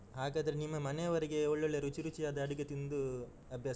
ಹಾಗಾದ್ರೆ ನಿಮ್ಮ ಮನೆಯವರಿಗೆ ಒಳ್ಳೊಳ್ಳೆ ರುಚಿ ರುಚಿಯಾದ ಅಡುಗೆ ತಿಂದು, ಅಭ್ಯಾಸ. ಇದೆ